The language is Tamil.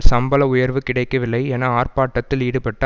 சம்பள உயர்வு கிடைக்கவில்லை என ஆர்ப்பாட்டத்தில் ஈடுபட்ட